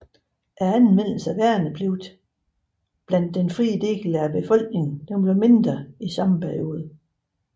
Anvendelsen af værnepligt blandt den frie del af befolkningen blev mindre i samme periode